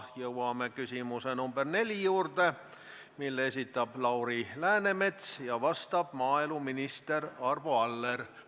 Jõuame küsimuse nr 4 juurde, mille esitab Lauri Läänemets ja vastab maaeluminister Arvo Aller.